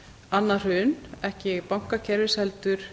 annað hrun ekki bankakerfis heldur